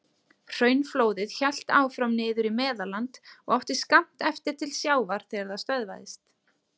Hraunflóðið hélt áfram niður í Meðalland og átti skammt eftir til sjávar þegar það stöðvaðist.